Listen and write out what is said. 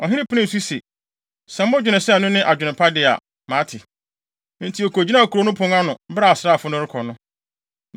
Ɔhene penee so se, “Sɛ modwene sɛ ɛno ne adwene pa de a, mate.” Enti okogyinaa kurow no pon ano, bere a asraafo no rekɔ no.